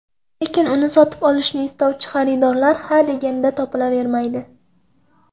Lekin uni sotib olishni istovchi xaridorlar ha deganda topilavermaydi.